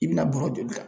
I bɛna bɔrɔ joli ta